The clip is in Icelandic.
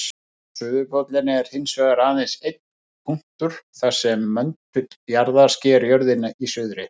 Suðurpóllinn er hins vegar aðeins einn punktur þar sem möndull jarðar sker jörðina í suðri.